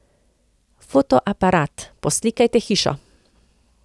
Fotoaparat, poslikajte hišo.